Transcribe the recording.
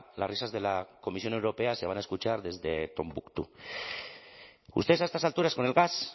las risas de la comisión europea se van a escuchar desde tombuctú ustedes a estas alturas con el gas